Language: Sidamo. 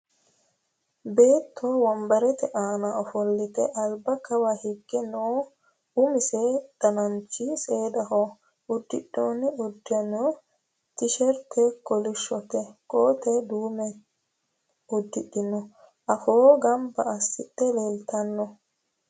Beetto wonbarette aanna offolitte alibba kawa hiige noo umise dananchi seedaho. Udidhinno uduunni tisheritte kolishsho, kootte duumme udidhe afoo ganbba asidhdhe leelittanno